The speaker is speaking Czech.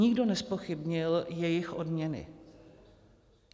Nikdo nezpochybnil jejich odměny.